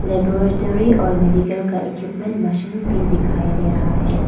एक और मेडिकल का इक्विपमेंट मशीन भी दिखाई दे रहा है।